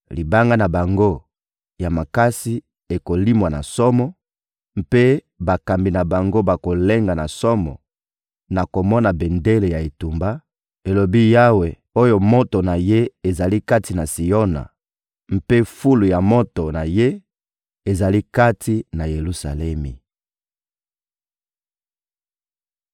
Libanga na bango ya makasi ekolimwa na somo; mpe bakambi na bango bakolenga na somo na komona bendele ya etumba,» elobi Yawe oyo moto na Ye ezali kati na Siona mpe fulu ya moto na Ye ezali kati na Yelusalemi.